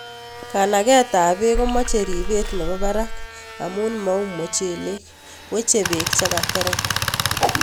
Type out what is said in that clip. "Kanaketab beek komoche ripet nebo barak amun mou mochelek, weche beek chekaterem."